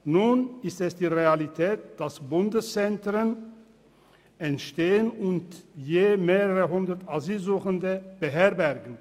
Nun ist es die Realität, dass Bundeszentren entstehen und je mehrere hundert Asylsuchende beherbergen.